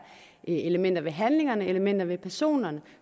elementer ved handlingerne og elementer ved personerne